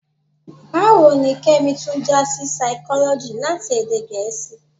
Báwo ni Kẹ́mi tún já sí Saikọ́lọ́jì láti èdè Gẹ̀ẹ́sì?